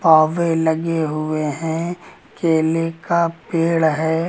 कौवे लगे हुए हैं केले का पेड़ है।